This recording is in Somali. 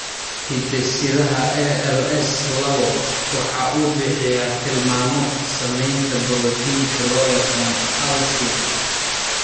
Hidde-sidaha ALS lawo waxa uu bixiyaa tilmaamo samaynta borotiinka loo yaqaan alsin.